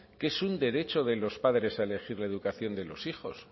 que es un derecho de los padres a elegir la educación de los hijos